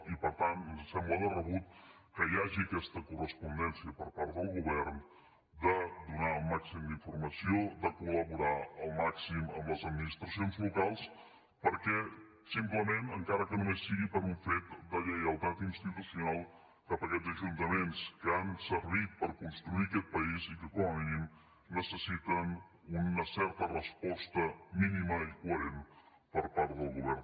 i per tant ens sembla de rebut que hi hagi aquesta correspondència per part del govern de donar el màxim d’informació de col·laborar al màxim amb les administracions locals simplement encara que només sigui per un fet de lleialtat institucional cap a aquests ajuntaments que han servit per construir aquest país i que com a mínim necessiten una certa resposta mínima i coherent per part del govern de la generalitat